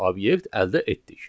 obyekt əldə etdik.